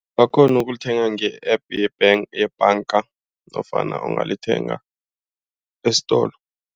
Bakghona ukulithenga nge-App yebhanga nofana ungalithenga esitolo.